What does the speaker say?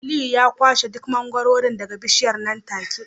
Aliyu ya kwashe duk mangwaro daga bishiyar nan take